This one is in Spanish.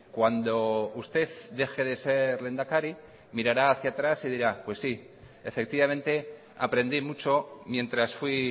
cuando usted deje de ser lehendakari mirará hacia atrás y dirá pues sí efectivamente aprendí mucho mientras fui